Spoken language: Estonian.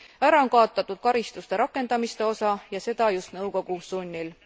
Ära on kaotatud karistuste rakendamiste osa ja seda just nõukogu sunnil.